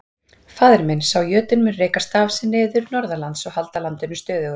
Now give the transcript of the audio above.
Faðir minn, sá jötunn, mun reka staf sinn niður norðanlands og halda landinu stöðugu.